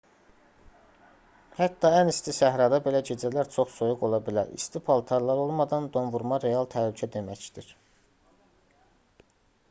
hətta ən isti səhrada belə gecələr çox soyuq ola bilər. i̇sti paltarlar olmadan donvurma real təhlükə deməkdir